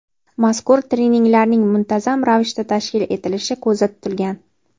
mazkur treninglarning muntazam ravishda tashkil etilishi ko‘zda tutilgan.